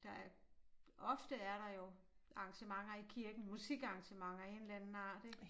Der er ofte er der jo arrangementer i kirken musikarrangementer af en eller anden art ik